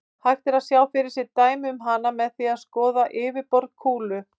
Hægt er að sjá fyrir sér dæmi um hana með því að skoða yfirborð kúlu.